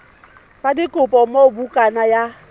sa dikopo moo bukana ya